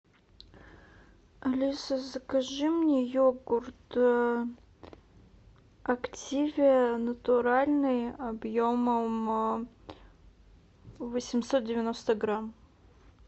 алиса закажи мне йогурт активиа натуральный объемом восемьсот девяносто грамм